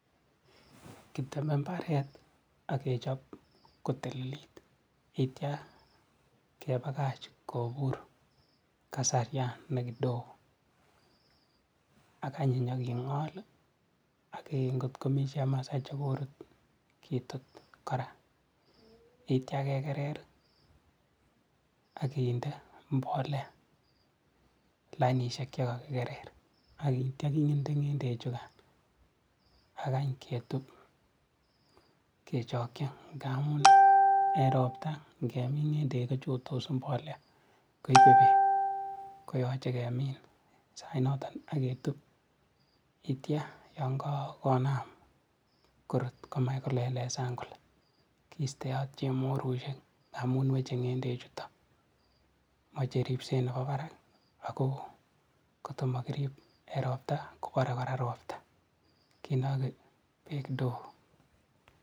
kiteme mbaret akechop kotililit itian kepakach kobur kasarian nekidogo akany inyiking'ol ak ng'ot komii chemasai chekorut kitut kora akitian kekerer akinde mbolea lainishek chekakikerer akitia kinde ng'endechukan akany ketup kechokyi ngamun en ropta ngemin ng'endek kochotos mbolea koipe beek koyoche kemin sainoto aketup akitian yan kakonam korut komach kolelesan kole kisteot chemorusiek amun weche ng'endechutok moche ripset nepo parak akoo ng'oto mokirip en ropta kopare kora ropta kinoki beek kidogo.